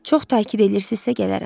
Çox təkid eləyirsizsə, gələrəm.